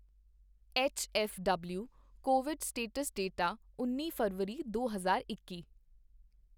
H F W COVID status data ਉੱਨੀ ਫ਼ਰਵਰੀ ਦੋ ਹਜ਼ਾਰ ਇੱਕੀ